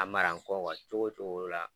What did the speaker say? A mara n kɔ wa cogo cogo la